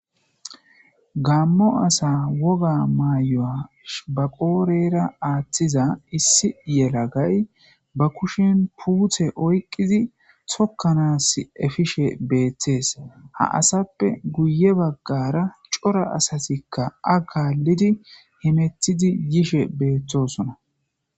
Gamo asa woga mayo ba qodhera athiza issi yalagay ba kushen pute oyiqidi tokanasi epishe betes ha asape guye bagara coora asatika a'a kalidi hemetidi yishe betosona.